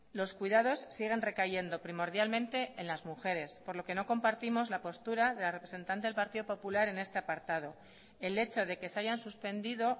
los cuidados siguen recayendo primordialmente en las mujeres por lo que no compartimos la postura de la representante del partido popular en este apartado el hecho de que se hayan suspendido